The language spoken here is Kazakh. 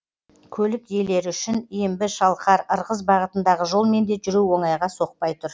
көлік иелері үшін ембі шалқар ырғыз бағытындағы жолмен де жүру оңайға соқпай тұр